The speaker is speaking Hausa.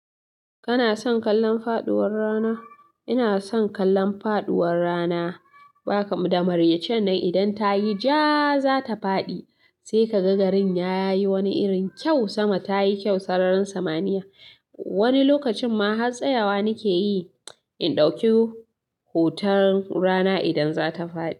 Kana son kallon faɗuwar rana? Ina son kallon faduwar rana. Ba kam da maraicen nan idan ta yi jaa, za ta faɗi. Sai ka ga garin ya yi wani irin kyau, sama ta yi kyau, sararin samaniya. Wani lokacin ma har tsayawa nike yi, in ɗauki hoton rana idan za ta faɗi.